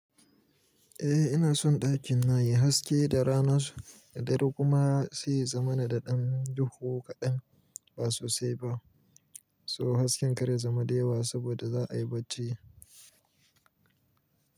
Eh ina son ɗakin na yayi haske da rana so, da dare kuma sai za mana da ɗan duhu kaɗan ba sosai ba. So hasken kar ya zama da yawa saboda za a yi bacci.